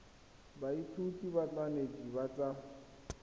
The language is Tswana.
baithuti ba banetshi ba tsa